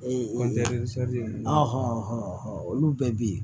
Ee o ninnu olu bɛɛ bɛ ye